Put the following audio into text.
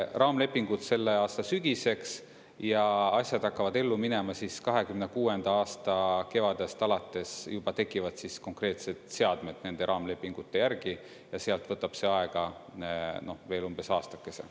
Raamlepingud selle aasta sügiseks ja asjad hakkavad ellu minema siis 2026. aasta kevadest alates, juba tekivad siis konkreetsed seadmed nende raamlepingute järgi ja sealt võtab see aega veel umbes aastakese.